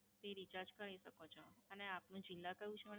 થી Recharge કરી શકો છો અને આપનું જીલ્લા કયું છે?